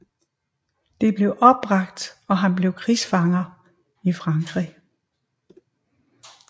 Det blev opbragt og han blev krigsfanger i Frankrig